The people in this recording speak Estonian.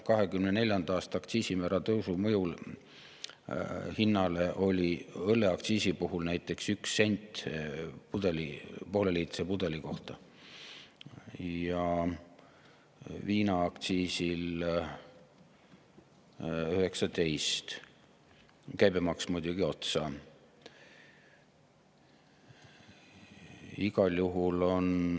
2024. aasta aktsiisimäära tõusu mõju hinnale oli näiteks õlleaktsiisi puhul 1 sent pooleliitrise pudeli kohta ja viinaaktsiisi puhul 19, käibemaks muidugi otsa.